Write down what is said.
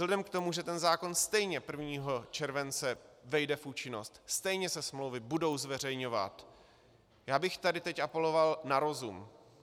Vzhledem k tomu, že ten zákon stejně 1. července vejde v účinnost, stejně se smlouvy budou zveřejňovat, já bych tady teď apeloval na rozum.